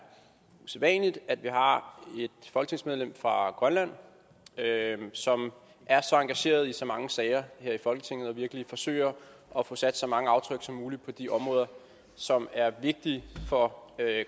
usædvanligt at vi har et folketingsmedlem fra grønland som er så engageret i så mange sager her i folketinget og virkelig forsøger at få sat så mange aftryk som muligt på de områder som er vigtige for